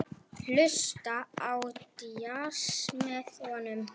Hlusta á djass með honum.